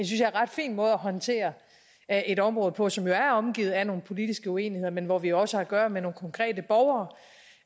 jeg ret fin måde at håndtere et område på som jo er omgivet af nogle politiske uenigheder men hvor vi også har at gøre med nogle konkrete borgere